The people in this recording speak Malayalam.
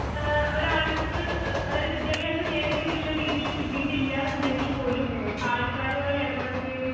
ഏ ഒരാൾക്ക് എ അതായതു വിദ്ത്യഭ്യസം നേർക്കുള്ളരീതിയിൽ കിട്ടിയിട്ടില്ലന്നുണ്ടെങ്കിൽ പോലും ആൾക്കാരുമായി ഈടപഴകുകയും